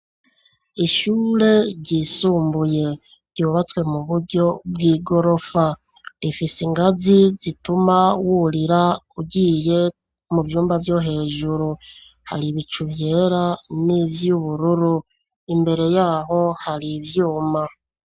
Ishure ryisumbuye, ryubatswe mu buryo bw'igorofa, ifise ingazi zituma wurira ugiye mu vyumba vyo hejuru, hari ibicu vyera n'ivyubururu, imbere yaho hari ivyuma.